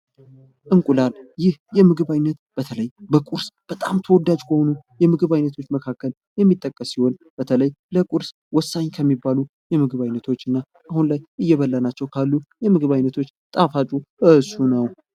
እንቁላል ይህ የምግብ አይነት በተለይ በቁርስ በጣም ተወዳጅ ከሆኑ የምግብ አይነቶች መካከል የሚጠቀስ ሲሆን በተለይ ለቁርስ ወሳኝ ከሚባሉ የምግብ አይነቶች እና አሁን ላይ እየበላናቸው ካሉ የምግብ አይነቶች ጣፋጩ እሱ ነው::